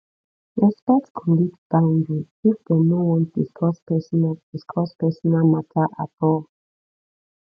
respect colleagues boundaries if dem no want discuss personal discuss personal matter at all